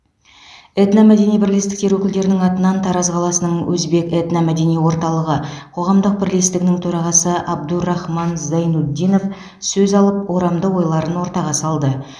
этномәдени бірлестіктер өкілдерінің атынан тараз қаласының өзбек этномәдени орталығы қоғамдық бірлестігінің төрағасы абдурахман зайнутдинов сөз алып орамды ойларын ортаға салды